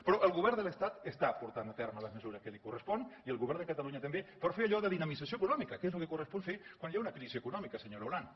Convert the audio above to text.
però el govern de l’estat està portant a terme les mesures que li corresponen i el govern de catalunya també per fer allò de dinamització econòmica que és el que correspon fer quan hi ha una crisi econòmica senyora olano